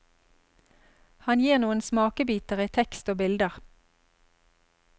Han gir noen smakebiter i tekst og bilder.